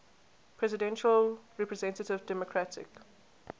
presidential representative democratic